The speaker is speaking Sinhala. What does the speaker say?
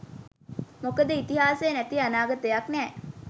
මොකද ඉතිහාසය නැති අනාගතයක් නෑ.